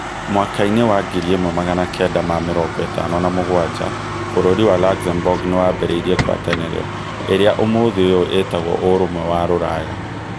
.Mwaka-inĩ wa ngiri ĩmwe magana kenda ma mĩrongo ĩtano na mũgwanja[ 1957], bũrũri wa Luxembourg nĩyambĩrĩirie ngwatanĩro ĩrĩa ũmuthĩ ũyũ ĩĩtagwo Ũrũmwe wa Rũraya.